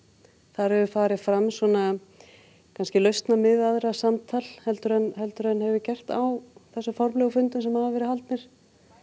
þar hefur farið fram samtal heldur en heldur en hefur gert á þessum formlegu fundum sem hafa verið haldnir